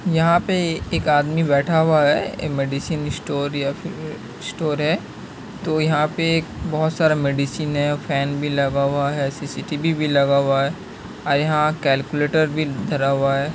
यहाँ पे एक आदमी बैठा हुआ है। मेडिसन स्टोर या फिर स्टोर है। तो यहाँ पे बहुत सारा मेडिसन है। फेन भी लगा हुआ है। सी_सी टी_वी भी लगा हुआ है। आइ यहाँ कैलकुलेटर भी धरा हुआ है।